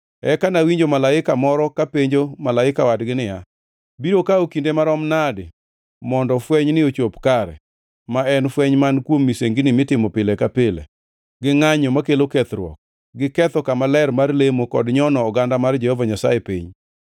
Eka nawinjo malaika moro kapenjo malaika wadgi niya, “Biro kawo kinde marom nadi mondo fwenyni ochop kare; ma en fweny man kuom misengini mitimo pile ka pile, gi ngʼanyo makelo kethruok, gi ketho kama ler mar lemo kod nyono oganda mar Jehova Nyasaye piny?”